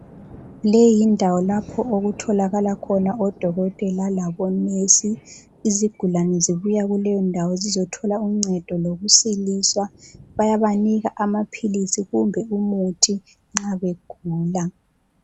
Leyi yindawo lapho okutholakala khona odokotela labonesi. Izigulane zibuya kuleyondawo zizothola uncedo lokusiliswa. Bayabanika amaphilisi kumbe umuthi nxa begula.